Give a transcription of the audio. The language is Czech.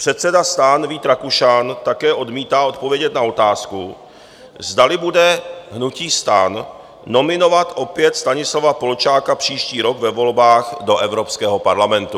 Předseda STAN Vít Rakušan také odmítá odpovědět na otázku, zdali bude hnutí STAN nominovat opět Stanislava Polčáka příští rok ve volbách do Evropského parlamentu.